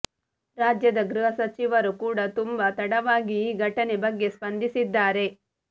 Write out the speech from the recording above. ರಾಜ್ಯದ ಗೃಹ ಸಚಿವರು ಕೂಡಾ ತುಂಬಾ ತಡವಾಗಿ ಈ ಘಟನೆ ಬಗ್ಗೆ ಸ್ಪಂದಿಸಿದ್ದಾರೆ